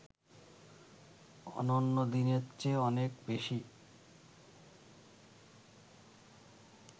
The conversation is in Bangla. অন্যন্য দিনের চেয়ে অনেক বেশি